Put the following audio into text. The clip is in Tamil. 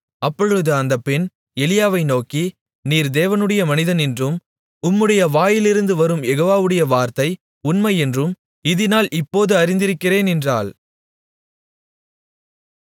அப்பொழுது அந்தப் பெண் எலியாவை நோக்கி நீர் தேவனுடைய மனிதன் என்றும் உம்முடைய வாயிலிருந்து வரும் யெகோவாவுடைய வார்த்தை உண்மை என்றும் இதினால் இப்போது அறிந்திருக்கிறேன் என்றாள்